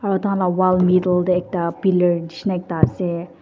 aru takhan la wall middle te ekta pillar nishe na ekta ase.